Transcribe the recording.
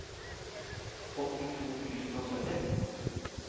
åttito tusen og sytti